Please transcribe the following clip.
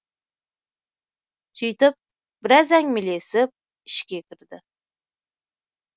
сөйтіп біраз әңгімелесіп ішке кірді